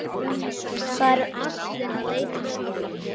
Það eru allir að leita að þér!